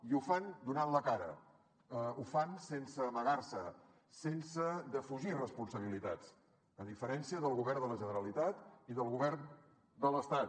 i ho fan donant la cara ho fan sense amagar se sense defugir responsabilitats a diferència del govern de la generalitat i del govern de l’estat